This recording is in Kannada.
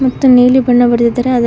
ಮತ್ತು ನೀಲಿ ಬಣ್ಣ ಬಡದಿದ್ದಾರೆ ಅದು--